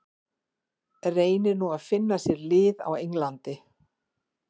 Reynir nú að finna sér lið á Englandi.